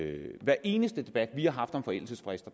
i hver eneste debat vi har haft om forældelsesfrister